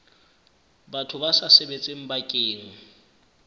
batho ba sa sebetseng bakeng